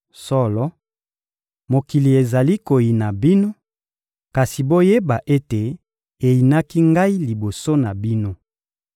Solo, mokili ezali koyina bino; kasi boyeba ete eyinaki Ngai liboso na bino.